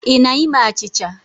Ị na-ime achịcha?